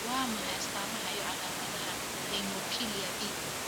Waa maxay astamaha iyo calaamadaha Hemophilia B?